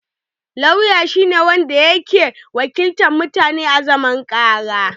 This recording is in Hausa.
Lauya shi ne wanda yake wakiltar mutun a zaman ƙara